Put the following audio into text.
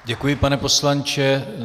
Děkuji, pane poslanče.